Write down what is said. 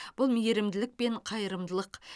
бұл мейірімділік пен қайырымдылық